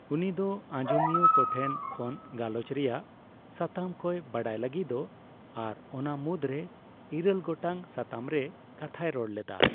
ᱩᱱᱤ ᱫᱚ ᱟᱡᱚᱢᱤᱭᱟᱹ ᱠᱚᱴᱷᱮᱱ ᱠᱷᱚᱱ ᱜᱟᱞᱚᱪ ᱨᱮᱭᱟᱜ ᱥᱟᱛᱟᱢ ᱠᱚᱭ ᱵᱟᱲᱟᱭ ᱞᱟᱹᱜᱤᱫᱚᱜ ᱟᱨ ᱚᱱᱟ ᱢᱩᱫᱽ ᱨᱮ ᱤᱨᱟᱹᱞ ᱜᱚᱴᱟᱝ ᱥᱟᱛᱟᱢ ᱨᱮ ᱠᱟᱛᱷᱟᱭ ᱨᱚᱲ ᱞᱮᱫᱟ ᱾